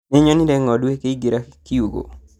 Nĩnyonire ng'ondu ikĩingĩra kiugo